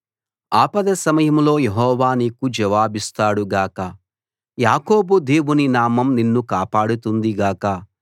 ఆపద సమయంలో యెహోవా నీకు జవాబిస్తాడు గాక యాకోబు దేవుని నామం నిన్ను కాపాడుతుంది గాక